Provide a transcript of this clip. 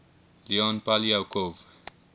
leon poliakov